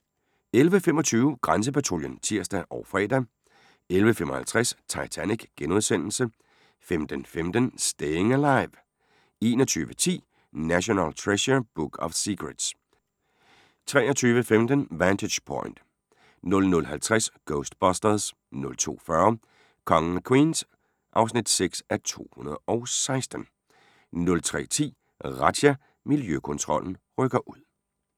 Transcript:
11:25: Grænsepatruljen (tir og fre) 11:55: Titanic * 15:15: Staying Alive 21:10: National Treasure: Book of Secrets 23:15: Vantage Point 00:50: Ghostbusters 02:40: Kongen af Queens (6:216) 03:10: Razzia – Miljøkontrollen rykker ud